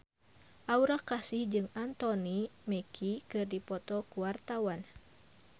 Aura Kasih jeung Anthony Mackie keur dipoto ku wartawan